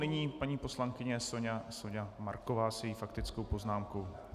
Nyní paní poslankyně Soňa Marková se svou faktickou poznámkou.